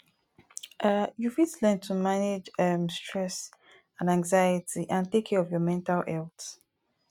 um you fit learn to manage um stress and anxiety and take care of your mental health